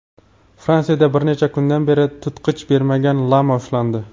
Fransiyada bir necha kundan beri tutqich bermagan lama ushlandi.